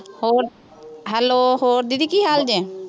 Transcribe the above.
ਹੋਰ hello ਹੋਰ ਦੀਦੀ ਕੀ ਹਾਲ ਜੇ,